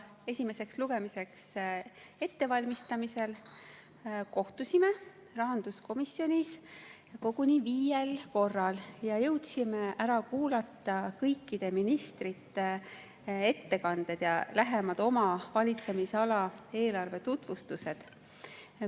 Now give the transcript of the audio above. Esimeseks lugemiseks ettevalmistamisel kohtusime rahanduskomisjonis koguni viiel korral ja jõudsime ära kuulata kõikide ministrite ettekanded ja oma valitsemisala eelarve lähemad tutvustused.